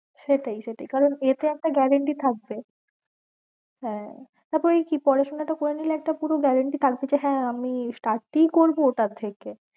সেটাই সেটাই কারণ এতে একটা guarantee থাকবে হ্যাঁ কি পড়াশোনাটা করে নিলে একটা কোনো guarantee থাকবে যে হ্যাঁ আমি staff এই করবো তার থেকে।